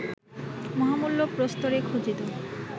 মহামূল্য প্রস্তরে খচিত